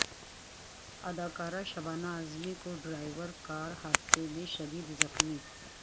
اداکارہ شبانہ اعظمی و driver car حادثہ میں شدید زخمی